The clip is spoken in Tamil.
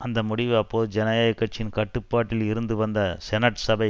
அந்த முடிவு அப்போது ஜனநாயக கட்சியின் கட்டுப்பாட்டில் இருந்து வந்த செனட் சபை